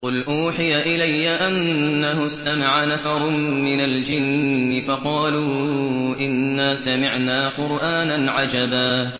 قُلْ أُوحِيَ إِلَيَّ أَنَّهُ اسْتَمَعَ نَفَرٌ مِّنَ الْجِنِّ فَقَالُوا إِنَّا سَمِعْنَا قُرْآنًا عَجَبًا